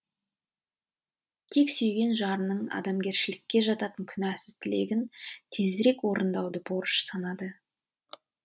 тек сүйген жарының адамгершілікке жататын күнәсіз тілегін тезірек орындауды борыш санады